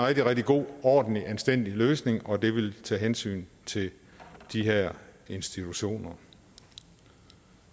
rigtig rigtig god ordentlig og anstændig løsning og det ville tage hensyn til de her institutioner